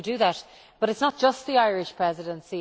We will do that, but it is not just the Irish Presidency.